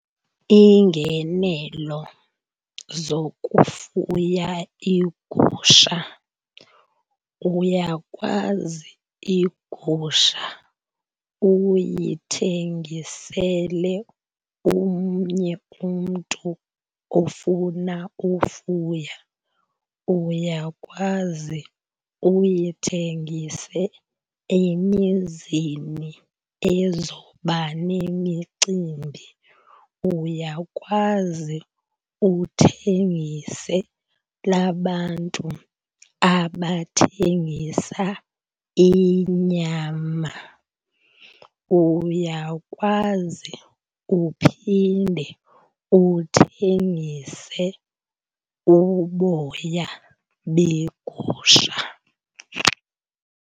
Iingenelo zokufuya iigusha, uyakwazi igusha uyithengisele omnye umntu ofuna ufuya. Uyakwazi uyithengise emizini ezoba nemicimbi. Uyakwazi uthengisela abantu abathengisa inyama. Uyakwazi uphinde uthengise uboya begusha.